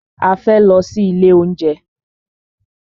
A fẹ́ lọ sí ilé oúnjẹ.